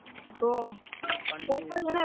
வச்சி அதுல fry பண்ண மாதிரி